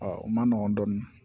o ma nɔgɔn dɔɔnin